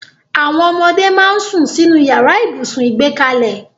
Àwọn ọmọdé máa ń sún sínú yàrá ibùsùn ìgbẹ́kalẹ̀